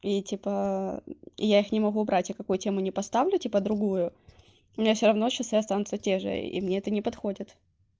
и типа и я их не могу убрать и какую тему не поставлю типа другую у меня все равно часы останутся те же и мне это не подходит